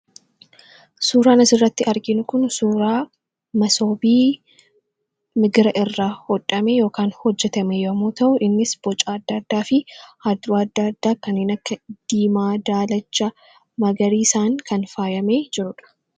suuraan as irratti arginu kun suuraa masoobii migira irraa hodhame yookaan hojjetame yemmuu ta'u innis boca addaa addaa fi halluu addaa addaa kanneen akka diimaa, daalacha, magariiisaan kan faayamee jiruudha